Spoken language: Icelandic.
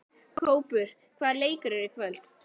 Kópur, hvaða leikir eru í kvöld?